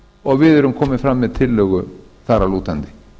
og við erum komin fram með tillögu þar að lútandi